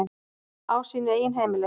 Á sínu eigin heimili.